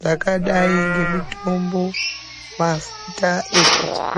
zvakadai ngemitombo, mafuta ekudzora.